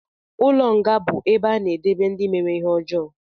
Ụlọ nga bu ebe a na-edebe ndị mere ihe ọjọọ